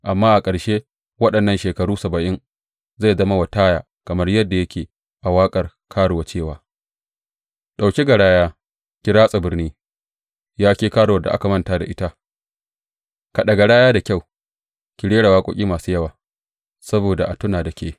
Amma a ƙarshen waɗannan shekaru saba’in, zai zama wa Taya kamar yadda yake a waƙar karuwa cewa, Ɗauki garaya, ki ratsa birni, Ya ke karuwar da aka manta da ita; kaɗa garaya da kyau, ki rera waƙoƙi masu yawa, saboda a tuna da ke.